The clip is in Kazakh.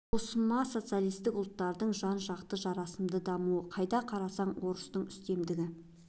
осы ма социалистік ұлттардың жан-жақты жарасымды дамуы қайда қарасаң да орыстың үстемдігі